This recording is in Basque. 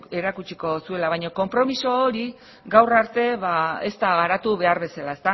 irakatsiko zuela baina konpromiso hori gaur arte ez da behar bezala